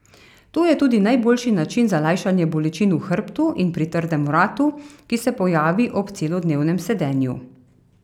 To je tudi najboljši način za lajšanje bolečin v hrbtu in pri trdem vratu, ki se pojavi ob celodnevnem sedenju.